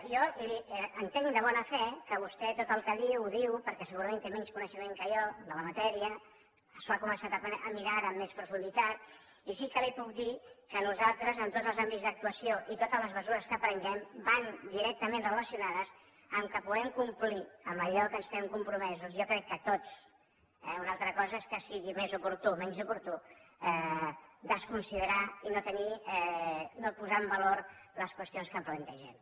jo entenc de bona fe que vostè tot el que diu ho diu perquè segurament té menys coneixement que jo de la matèria s’ho ha començat a mirar ara amb més profunditat i sí que li puc dir que nosaltres tots els àmbits d’actuació i totes les mesures que prenem van directament relacionades amb el fet que puguem complir amb allò a què estem compromesos jo crec que tots eh una altra cosa és que sigui més oportú o menys oportú desconsiderar i no posar en valor les qüestions que plantegem